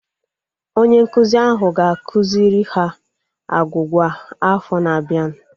Onye nkụzi ahụ ga-akụziri ha agwugwa afọ na-abianu